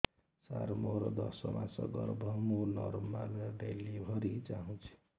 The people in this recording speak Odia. ସାର ମୋର ଦଶ ମାସ ଗର୍ଭ ମୁ ନର୍ମାଲ ଡେଲିଭରୀ ଚାହୁଁଛି